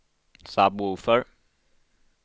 sub-woofer